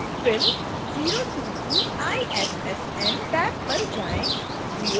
फिर 022 issn tab पर जाएँ